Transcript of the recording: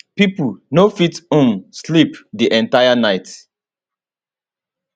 pipo no fit um sleep di entire night